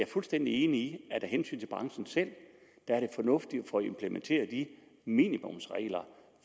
fuldstændig enig at af hensyn til branchen selv er det fornuftigt at få implementeret de minimumsregler